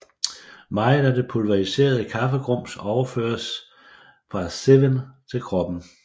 Meget af det pulveriserede kaffegrums overføres fra cezven til koppen